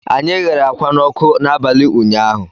Anyị ghere ákwá n'ọkụ n'abalị ụnyaahụ